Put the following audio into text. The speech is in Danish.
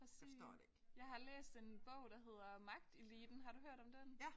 Præcis jeg har læst en bog der hedder Magteliten har du hørt om den?